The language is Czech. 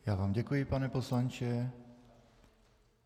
Já vám děkuji, pane poslanče.